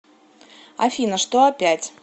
афина что опять